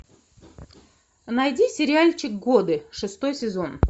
найди сериальчик годы шестой сезон